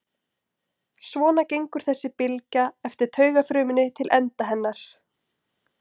Svona gengur þessi bylgja eftir taugafrumunni til enda hennar.